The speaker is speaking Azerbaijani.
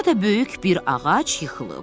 Burada böyük bir ağac yıxılıb.